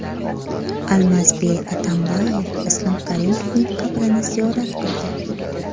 Almazbek Atambayev Islom Karimovning qabrini ziyorat qildi.